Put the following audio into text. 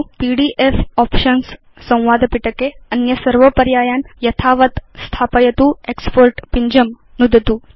PDF options संवाद पिटके अन्य सर्व पर्यायान् यथावत् स्थापयतु एक्स्पोर्ट् पिञ्जं नुदतु च